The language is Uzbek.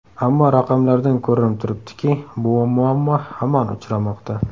Ammo raqamlardan ko‘rinib turibdiki, bu muammo hamon uchramoqda.